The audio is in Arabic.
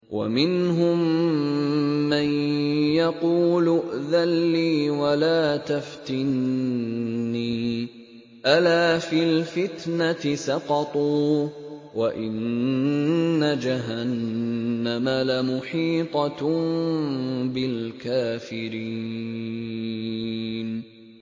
وَمِنْهُم مَّن يَقُولُ ائْذَن لِّي وَلَا تَفْتِنِّي ۚ أَلَا فِي الْفِتْنَةِ سَقَطُوا ۗ وَإِنَّ جَهَنَّمَ لَمُحِيطَةٌ بِالْكَافِرِينَ